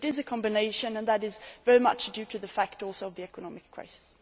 It is a combination, and that is also very much due to the fact of the economic crisis.